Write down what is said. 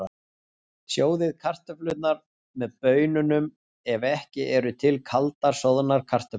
Sjóðið kartöflurnar með baununum ef ekki eru til kaldar soðnar kartöflur.